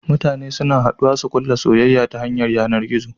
Mutane suna haduwa su kulla soyayya ta yanar gizo